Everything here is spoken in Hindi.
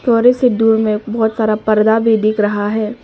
थोड़े से दूर में बहुत सारा पर्दा भी दिख रहा है।